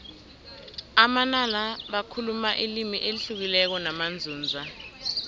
amanala bakhuluma ilimi elihlukileko namanzunza